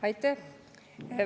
Aitäh!